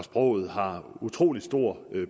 sproget har utrolig stor